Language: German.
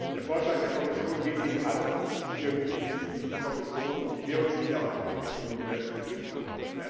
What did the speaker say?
Der Vorschlag der Kommission geht gegen alle Prinzipien, die sich diese Kommission und die wir uns in der Europäischen Union selbst gegeben haben.